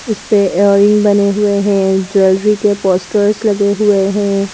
इस पे इयररिंग्स बने हुए हैं ज्वेलरी के पोस्टर्स लगे हुए हैं।